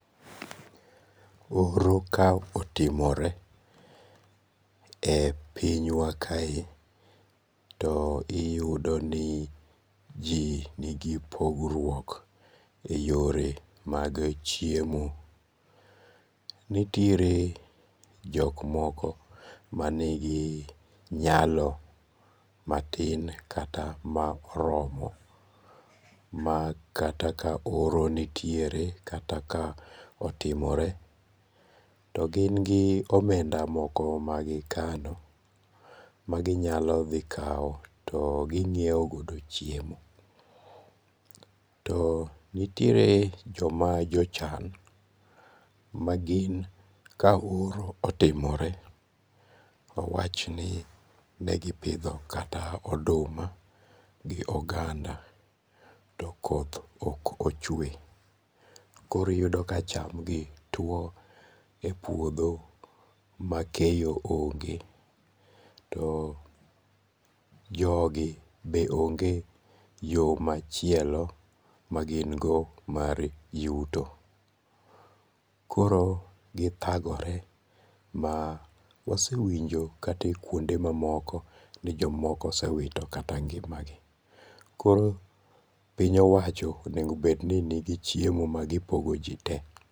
Oro ka otimore e pinywa kae, to iyudo ni ji nigi pogruok e yore mag chiemo, nitiere jok moko manigi nyalo matin kata ma oromo ma kata ka oro nitiere kata ka otimore to gingi omenda moko magikano maginyalo dhi kawo to gi nyiewo godo chiemo, to nitiere joma jochan magin ka oro otimore wawchni negipidho kata oduma gi oganda to koth ok ochwe koro iyudo ka chamgi tuwo e puotho makeyo onge', to jogi be onge' yo machielo magin go mar yuto koro githagore ma wasewinjo kata e kuondego mamoko ni jomoko osewito kata ngi'magi. Koro piny owacho onego bed ni nigi chiemo magipogo ji te.